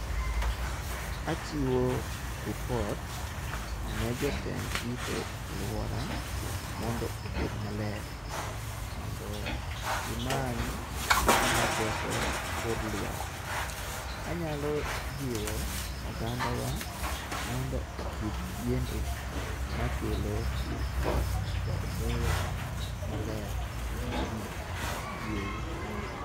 Achiwo lipotne ne jotend rito aluora mondo obed maler mondo gimany gimaketho kor luasi. Anyalo jiwo ogandawa mondo opidh yiende makelo koth kod muya maler maji yweyo.